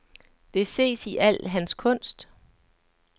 Det ses i al hans kunst.